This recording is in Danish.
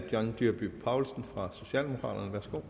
bare for